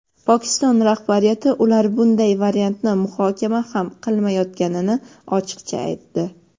Pokiston rahbariyati ular bunday variantni muhokama ham qilmayotganini ochiqcha aytdi.